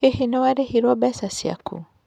Hihi nĩ warĩhirwo mbeca ciaku?